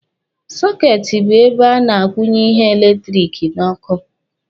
Sọketi bụ ebe a na-akwụnye ihe eletiriki n'ọkụ.